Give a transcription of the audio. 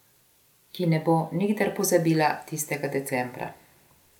Ki ne bo nikdar pozabila tistega decembra.